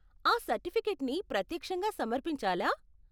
ఆ సర్టిఫికేట్ని ప్రత్యక్షంగా సమర్పించాలా?